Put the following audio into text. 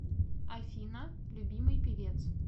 афина любимый певец